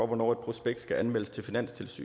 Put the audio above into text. hvornår et prospekt skal anmeldes til finanstilsynet